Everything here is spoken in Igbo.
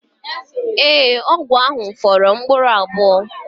Ee, ọgwụ ahụ fọrọ mkpụrụ abụọ